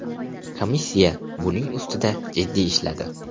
Komissiya buning ustida jiddiy ishladi.